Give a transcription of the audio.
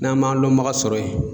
N'an man lɔnbaga sɔrɔ yen.